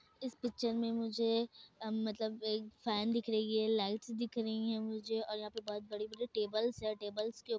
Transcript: इस पिक्चर में मुझे मतलब एक फैन दिख रही है लाइट्स दिख रही है मुझे और यहां पर बड़े-बड़े टेबल्स से टेबल्स के --